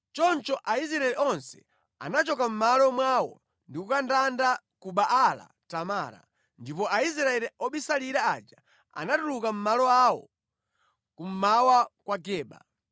Choncho Aisraeli onse anachoka mʼmalo mwawo ndi kukandanda ku Baala-Tamara, ndipo Aisraeli obisalira aja anatuluka mʼmalo awo kummawa kwa Geba.